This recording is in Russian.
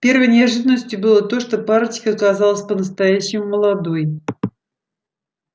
первой неожиданностью было то что парочка оказалась по-настоящему молодой